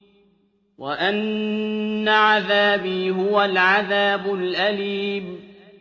وَأَنَّ عَذَابِي هُوَ الْعَذَابُ الْأَلِيمُ